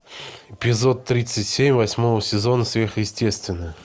эпизод тридцать семь восьмого сезона сверхъестественное